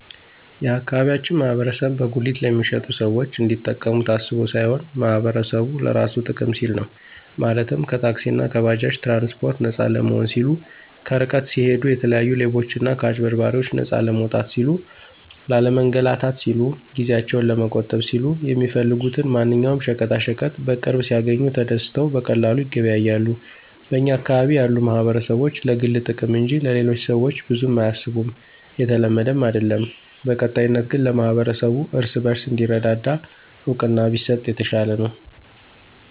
የአካባቢያችን ማህበረሰብ በጉሊት ለሚሸጡት ሰዎች እንዲጠቀሙ ታስቦ ሳይሆን ማህበረሰቡ ለራሱ ጥቅም ሲል ነው፤ ማለትም ከታክሲእና ከባጃጅ ትራንስፓርት ነፃ ለመሆን ሲሉ፣ ከርቀት ሲሂዱ የተለያዩ ሌቦችና ከአጭበርባሪዎች ነፃ ለመውጣት ሲሉ፣ ላለመንላታት ሲሉ፣ ጊዜአቸውን ለመቆጠብ ሲሉ፣ የሚፈልጉትን ማንኛውም ሸቀጣሸቀጥ በቅርብ ሲያግኙ ተደስተው በቀላሉ ይገበያያሉ። በኛ አካባቢ ያሉ ማህበረሰቦች ለግል ጥቅም እንጅ ለሌሎቹ ሰዎች ብዙም አያስቡም የተለመደም አይድለም። በቀጣይነት ግን ለማህበረሰቡ እርስ በርሱ እንዲረዳዳ እውቅና ቢሰጥ የተሻለ ነው።